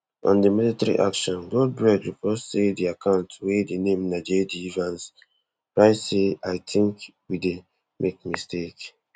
on di military action goldberg report say di account wey di name na jd vance write say i think we dey make mistake